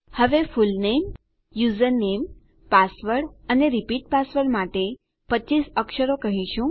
હવે full name username password અને repeat password માટે 25 અક્ષરો કહીશું